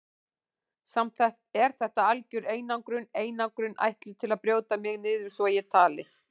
Samt er þetta algjör einangrun, einangrun ætluð til að brjóta mig niður svo ég tali.